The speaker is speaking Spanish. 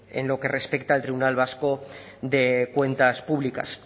en lo que respecta al tribunal vasco de cuentas públicas